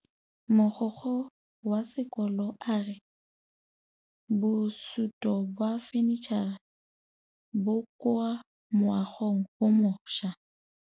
Mogokgo wa sekolo a re bosutô ba fanitšhara bo kwa moagong o mošwa.